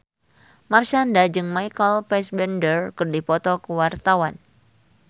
Marshanda jeung Michael Fassbender keur dipoto ku wartawan